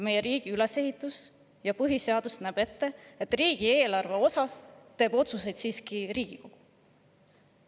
Meie riigi ülesehitus ja põhiseadus näeb seda ette, et riigieelarve kohta teeb otsuseid siiski Riigikogu.